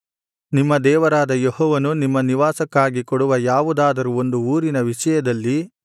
ನಿಮ್ಮ ದೇವರಾದ ಯೆಹೋವನು ನಿಮ್ಮ ನಿವಾಸಕ್ಕಾಗಿ ಕೊಡುವ ಯಾವುದಾದರೂ ಒಂದು ಊರಿನ ವಿಷಯದಲ್ಲಿ